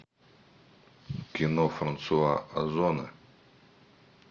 кино франсуа озона